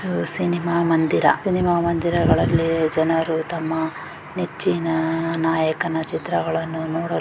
ಇದು ಸಿನಿಮಾ ಮಂದಿರ ಸಿನಿಮಾ ಮಂದಿರಗಳಲ್ಲಿ ಜನರು ತಮ್ಮ ನೆಚ್ಚಿನ ನಾಯಕನ ಚಿತ್ರಗಳನ್ನು ನೋಡಲು--